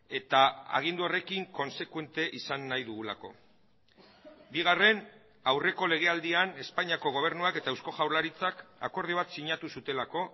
eta agindu horrekin kontsekuente izan nahi dugulako bigarren aurreko legealdian espainiako gobernuak eta eusko jaurlaritzak akordio bat sinatu zutelako